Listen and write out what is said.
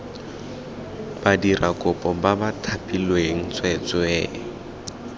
badirakopo ba ba thapilweng tsweetswee